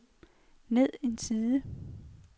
ned en side